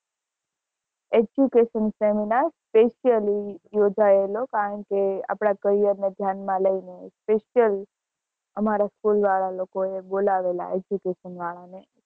education seminar specially યોજયેલો કારણકે આપડે career ને ધ્યાન માં લઇ ને special અમારા school વાળા લોકો એ બોલા વેલા education વાળા ને